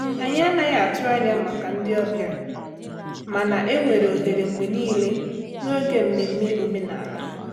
Anyị anaghị atụ anya makà ndị ọbịa, mana enwere ohere mgbe niile n'oge mmemme omenala.